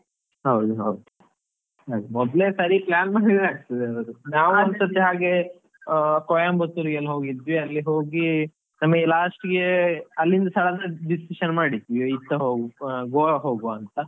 ಹೌದು ಹೌದು, ಅದೇ ಮೊದ್ಲೇ ಸರಿ plan ಮಾಡಿದ್ರೆ ಆಗ್ತದೆ ಅವರು ನಾವ್ ಒಂದ್ ಸರ್ತಿ ಹಾಗೆ ಕೊಯಂಬತ್ತೂರ್ಗೆ ಎಲ್ಲ ಹೋಗಿದ್ವಿ ಅಲ್ಲಿ ಹೋಗಿ ನಮಗೆ last ಗೆ ಅಲ್ಲಿಂದ decision ಮಾಡಿದ್ವಿ ಇದ್ ಸಹ ಹೋಗುವ ಗೋವಾ ಹೋಗುವಂತಾ.